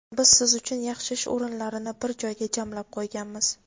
Biz siz uchun yaxshi ish o‘rinlarini bir joyga jamlab qo‘yganmiz!.